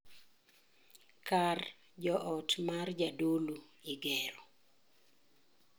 Kar joot mar jadolo Igero.